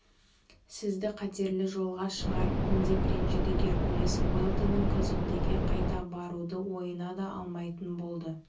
сізді қатерлі жолға шығарыппын деп ренжіді геркулес уэлдонның казондеге қайта баруды ойына да алмайтын болды